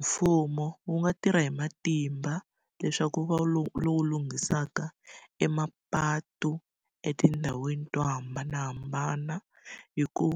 Mfumo wu nga tirha hi matimba leswaku wu va lowu lunghisaka emapatu etindhawini to hambanahambana. Hi ku